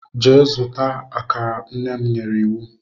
Jee zuta akara, nnem nyere iwu.